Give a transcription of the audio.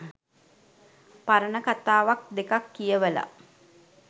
පරණ කතාවක් දෙකක් කියවල